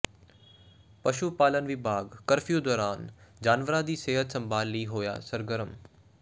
ਪਸ਼ੂ ਪਾਲਣ ਵਿਭਾਗ ਕਰਫਿਊ ਦੌਰਾਨ ਜਾਨਵਰਾਂ ਦੀ ਸਿਹਤ ਸੰਭਾਲ ਲਈ ਹੋਇਆ ਸਰਗਰਮ